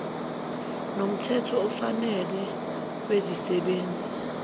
nomthetho ofanele wezisebenzi